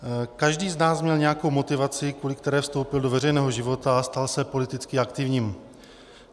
Každý z nás měl nějakou motivaci, kvůli které vstoupil do veřejného života a stal se politicky aktivním.